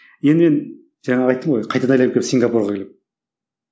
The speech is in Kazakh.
енді мен жаңа айттым ғой қайтадан айналып келіп сингапурға келемін